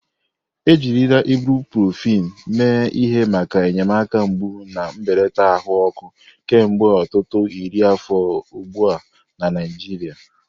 Ejirila ibuprofen mee ihe maka enyemaka mgbu na mbelata ahụ ọkụ kemgbe ọtụtụ iri afọ ugbu a na Naijiria.